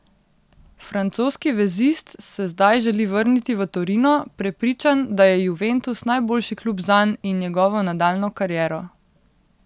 Francoski vezist se zdaj želi vrniti v Torino, prepričan, da je Juventus najboljši klub zanj in njegovo nadaljnjo kariero.